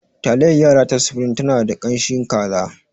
Taliyar yara ta supreme tana da ƙanshin kaza.